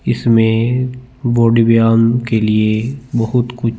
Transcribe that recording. इस में बॉडी व्याम के लिए बहोत कुछ--